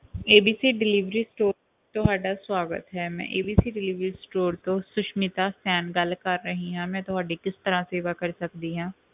ABC delivery sto~ ਤੁਹਾਡਾ ਸਵਾਗਤ ਹੈ, ਮੈਂ ABC delivery store Susmita Sen ਗੱਲ ਕਰ ਰਹੀ ਹਾਂ, ਮੈਂ ਤੁਹਾਡੀ ਕਿਸ ਤਰ੍ਹਾਂ ਸੇਵਾ ਕਰ ਸਕਦੀ ਹਾਂ?